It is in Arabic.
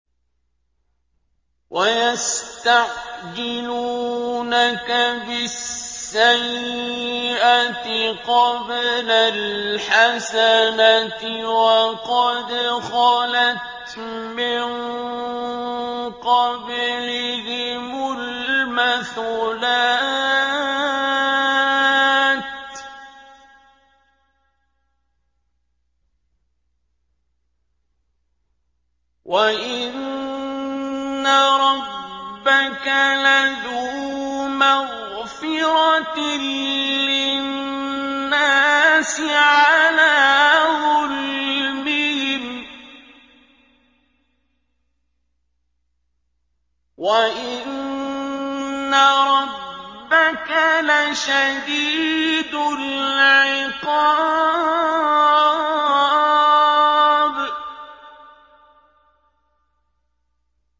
وَيَسْتَعْجِلُونَكَ بِالسَّيِّئَةِ قَبْلَ الْحَسَنَةِ وَقَدْ خَلَتْ مِن قَبْلِهِمُ الْمَثُلَاتُ ۗ وَإِنَّ رَبَّكَ لَذُو مَغْفِرَةٍ لِّلنَّاسِ عَلَىٰ ظُلْمِهِمْ ۖ وَإِنَّ رَبَّكَ لَشَدِيدُ الْعِقَابِ